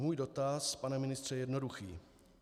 Můj dotaz, pane ministře, je jednoduchý.